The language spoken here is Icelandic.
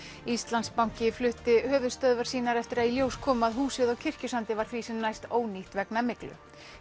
Íslandsbanki flutti höfuðstöðvar sínar eftir að í ljós kom að húsið á Kirkjusandi var því sem næst ónýtt vegna myglu